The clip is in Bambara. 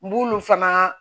N b'olu fana